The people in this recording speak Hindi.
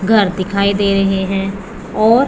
घर दिखाई दे रहे हैं और--